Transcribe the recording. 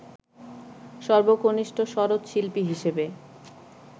সর্বকনিষ্ঠ সরোদশিল্পী হিসেবে